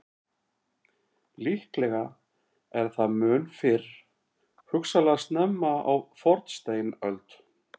Líklega er það mun fyrr, hugsanlega snemma á fornsteinöld.